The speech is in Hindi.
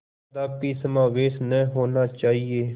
कदापि समावेश न होना चाहिए